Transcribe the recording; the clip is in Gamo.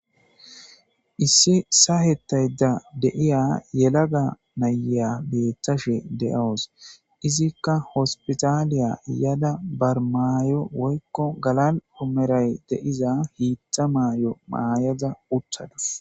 Issi saahettayda deiya yelaga naya beetashe de'awos izikka hospitaaliya yada barmaayo woykko galal omeray de'iza hiitha maayo maayaza uttadas.